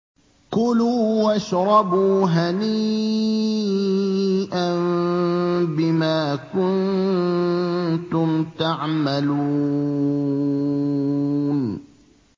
كُلُوا وَاشْرَبُوا هَنِيئًا بِمَا كُنتُمْ تَعْمَلُونَ